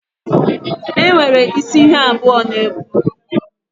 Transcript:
Enwere isi ihe abụọ na-ekwu.